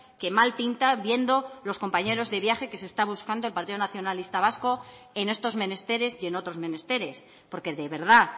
que mal pinta viendo los compañeros de viaje que se está buscando el partido nacionalista vasco en estos menesteres y en otros menesteres porque de verdad